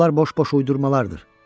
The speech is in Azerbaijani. Bunlar boş-boş uydurmalardır.